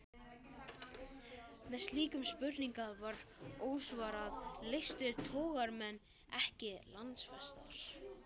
Meðan slíkum spurningum var ósvarað, leystu togaramenn ekki landfestar.